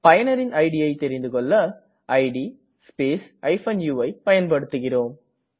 பயனரின் idஐ தெரிந்திகொள்ள இட் ஸ்பேஸ் uஐ பயன்படுத்துகிறேம்